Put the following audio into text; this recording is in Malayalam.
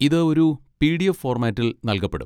ഇത് ഒരു പി.ഡി.എഫ്. ഫോർമാറ്റിൽ നൽകപ്പെടും.